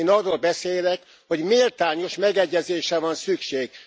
Én arról beszélek, hogy méltányos megegyezésre van szükség.